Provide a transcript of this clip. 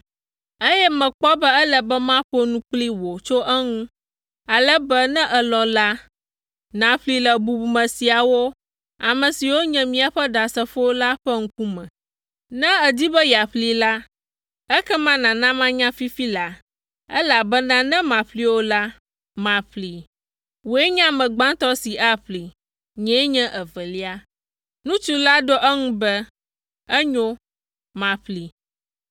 eye mekpɔ be ele be maƒo nu kpli wò tso eŋu, ale be ne èlɔ̃ la, nàƒlee le bubume siawo, ame siwo nye míaƒe ɖasefowo la ƒe ŋkume. Ne èdi be yeaƒlee la, ekema nàna manya fifi laa, elabena ne màƒlee o la, maƒlee. Wòe nye ame gbãtɔ si aƒlee; nyee nye evelia.” Ŋutsu la ɖo eŋu be, “Enyo, maƒlee.”